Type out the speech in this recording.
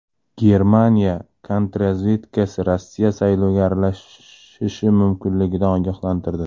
Germaniya kontrrazvedkasi Rossiya saylovga aralashishi mumkinligidan ogohlantirdi.